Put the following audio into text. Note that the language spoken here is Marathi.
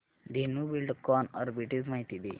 धेनु बिल्डकॉन आर्बिट्रेज माहिती दे